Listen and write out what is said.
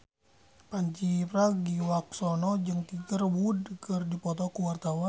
Pandji Pragiwaksono jeung Tiger Wood keur dipoto ku wartawan